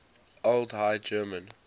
old high german